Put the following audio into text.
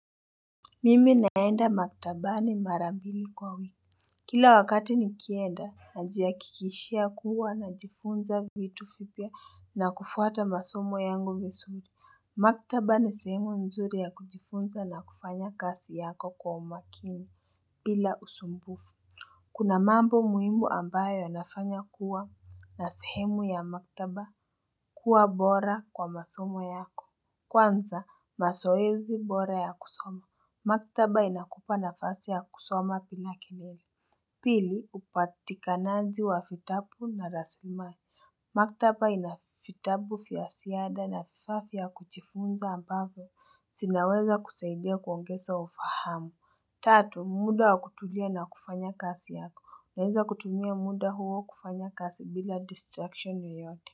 Mimi naenda maktabani mara mbili kwa wiki. Kila wakati nikienda najihakikishia kuwa najifunza vitu fipya na kufuata masomo yangu visuri. Maktaba ni sehemu nzuri ya kujifunza na kufanya kasi yako kwa umakini bila usumbufu. Kuna mambo muimu ambayo yanafanya kuwa na sehemu ya maktaba kuwa bora kwa masomo yako. Kwanza, masoezi bora ya kusoma. Maktaba inakupa nafasi ya kusoma pila kilele. Pili, upatikanaji wa fitabu na raslimali. Maktaba ina fitabu fya siada na vifaa fya kuchifunza ambavyo. Sinaweza kusaidia kuongeza ufahamu. Tatu, muda wa kutulia na kufanya kasi yako. Naweza kutumia muda huo kufanya kasi bila distraction yoyote.